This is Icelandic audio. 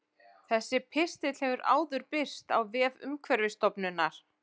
Þessi pistill hefur áður birst á vef Umhverfisstofnunar.